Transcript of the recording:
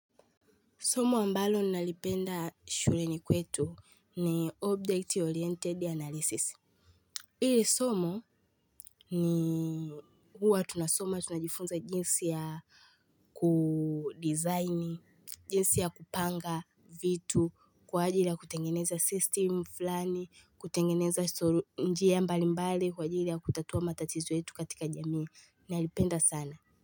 Somo ambalo ninalipenda shuleni kwetu ni Object Oriented Analysis. Hili somo ni huwa tunasoma tunajifunza jinsi ya kudesign jinsi ya kupanga vitu kwa ajili ya kutengeneza system fulani kutengeneza njia mbalimbali kwa ajili ya kutatua matatizo yetu katika jamii nalipenda sana.